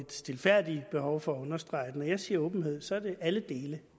et stilfærdigt behov for at understrege at når jeg siger åbenhed så er det alle dele